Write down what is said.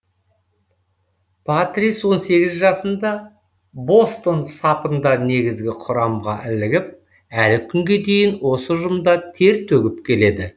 патрис он сегіз жасында бостон сапында негізгі құрамға ілігіп әлі күнге дейін осы ұжымда тер төгіп келеді